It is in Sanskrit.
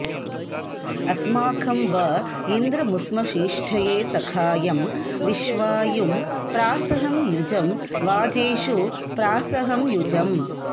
अस्माकं व इन्द्रमुश्मसीष्टये सखायं विश्वायुं प्रासहं युजं वाजेषु प्रासहं युजम्